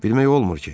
Bilmək olmur ki.